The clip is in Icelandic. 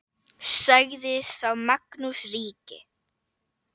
Sagði þá Magnús ríki